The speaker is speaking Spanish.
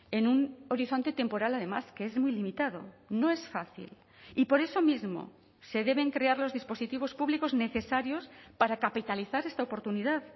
en un horizonte temporal además que es muy limitado no es fácil y por eso mismo se deben crear los dispositivos públicos necesarios para capitalizar esta oportunidad